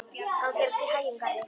Gangi þér allt í haginn, Garri.